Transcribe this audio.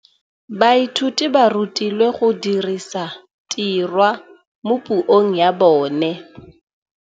Baithuti ba rutilwe go dirisa tirwa mo puong ya bone.